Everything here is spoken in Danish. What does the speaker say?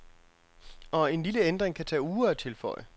Og en lille ændring kan tage uger at tilføje.